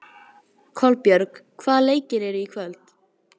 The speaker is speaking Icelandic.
Kolbjörg, hvaða leikir eru í kvöld?